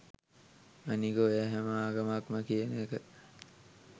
අනික ඔය “හැම ආගමක්ම” කියන එක